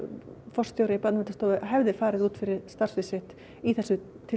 forstjóri Barnaverndarstofu hefði farið út fyrir starfsvið sitt í þessu